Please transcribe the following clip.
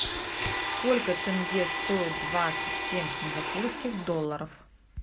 сколько тенге стоит двадцать семь сингапурских долларов